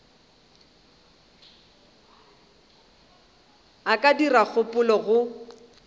a ka dira kgopelo go